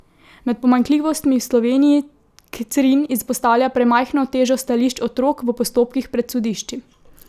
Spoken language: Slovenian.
Med pomanjkljivostmi v Sloveniji Crin izpostavlja premajhno težo stališč otrok v postopkih pred sodišči.